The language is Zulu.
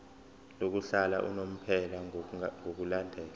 lokuhlala unomphela ngokulandela